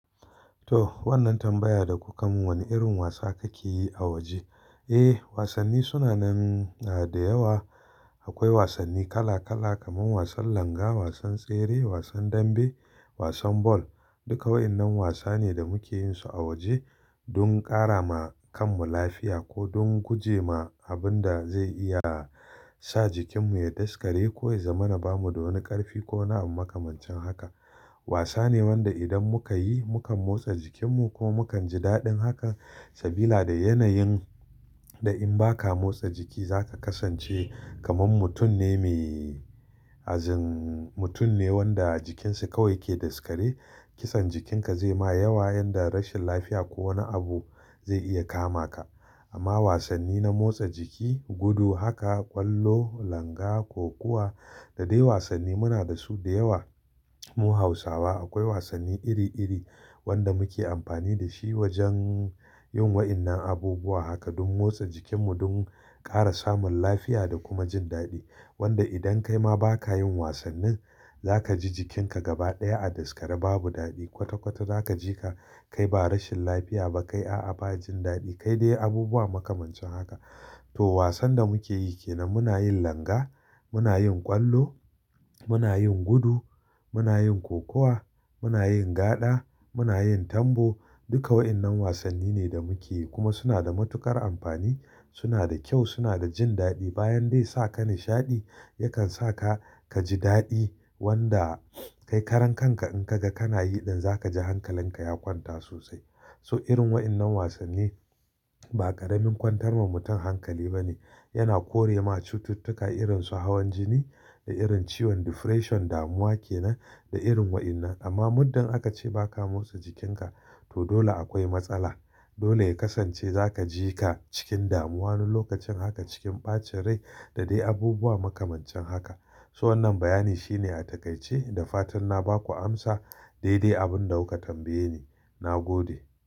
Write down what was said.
To wannan tambaya da kuka mun, wani irin wasa kake yi a waje? Eh, wasanni suna nan, a da yawa. Akwai wasanni kala kala kamar wasan langa, wasan tsere, wasan dambe, wasan ball. Duka waɗannan wasa ne da muke yin su a waje don ƙara ma kanmu lafiya ko don guje ma abun da zai iya sa jikinmu ya daskare ko ya zamana bamu da wani ƙarfi ko waniabu makamancin haka. Wasa ne wanda idan muka yi, mukan motsa jikinmu kuma mukan ji daɗin haka sabila da yanayin da in ba ka motsa jiki za ka kasance kamar mutum ne me azin, mutum ne wanda jikinsa kawai yake daskare. Kitsan jikinka zai ma yawa yanda rashin lafiya ko wani abu zai iya kama ka. Amma wasanni na motsa jiki, gudu haka, ƙwallo, langa, kokuwa da dai wasanni muna da su da yawa. Mu hausawa akwai wasanni iri iri wanda muke amfani da shi wajen yin waɗannan abubuwa haka don motsa jikinmu, don ƙara samun lafiya da kuma jin daɗi. Wanda idan kai ma ba ka yin wasannin, za ka ji jikinka gaba ɗaya a daskare babu daɗi. Kwata kwata za ka ji ka kai ba rashin lafiya ba kai a'a ba jin daɗi kai dai abubuwa makamancin haka. To wasan da muke yi ke nan muna yin langa, muna yin ƙwallo, muna yin gudu, muna yin kokuwa, muna yin gaɗa, muna yin tambo. Duka waɗannan wasanni ne da muke yi kuma suna da matuƙar amfani, suna da kyau, suna da jin daɗi. Bayan dai sakan nishaɗi yakan saka ka ji daɗi wanda kai karan kanka in ka ga kana yi ɗin za ka ji hankalin ka ya kwanta sosai. So irin waɗannan wasanni ba ƙaramin kwantar ma mutum hankali ba ne. Yana kore ma cututtuka irin su hawan jini da irin ciwon depression damuwa kenan da irin waɗannan. Amma muddin aka ce ba ka motsa jikinka to dole akwai matsala. Dole ya kasance za ka ji ka cikin damuwa wani lokacin haka, cikin ɓacin rai da dai abubuwa makamancin haka. So wannan bayani shine a takaice da fatan na ba ku amsa dai dai abin da kuka tambaye ni. Na gode.